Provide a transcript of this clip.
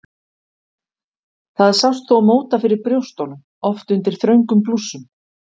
Það sást þó móta fyrir brjóstunum, oft undir þröngum blússum.